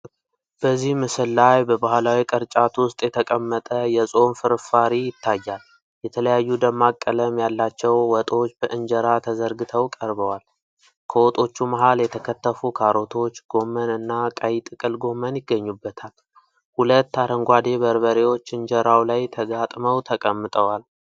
በዚህ ምስል ላይ በባህላዊ ቅርጫት ውስጥ የተቀመጠ የፆም ፍርፋሪ ይታያል። የተለያዩ ደማቅ ቀለም ያላቸው ወጦች በእንጀራ ተዘርግተው ቀርበዋል። ከወጦቹ መሃል የተከተፉ ካሮቶች፣ ጎመን እና ቀይ ጥቅል ጎመን ይገኙበታል። ሁለት አረንጓዴ በርበሬዎች እንጀራው ላይ ተጋጥመው ተቀምጠዋል።